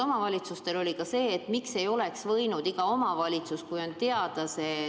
Omavalitsustel oli ka küsimus, miks ei oleks võinud iga omavalitsus neid maske tellida.